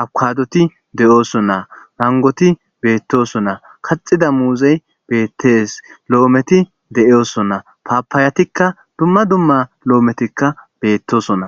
abkaadoti de7ooso naa mangoti beettoson naa kaxida muuzey beettes lo7ometi de7ooso naa paapaayatikka dumma dumma lo7ometikka beettosona